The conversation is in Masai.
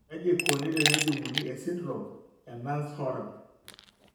Kaji eikoni tenejung'uni esindirom eNance Horan?